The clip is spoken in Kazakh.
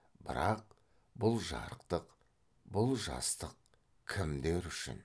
бірақ бұл жарықтық бұл жастық кімдер үшін